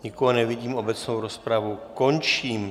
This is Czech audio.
Nikoho nevidím, obecnou rozpravu končím.